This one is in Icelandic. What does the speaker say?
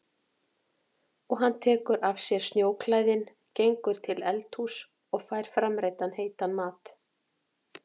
Og hann tekur af sér snjóklæðin, gengur til eldhúss og fær framreiddan heitan mat.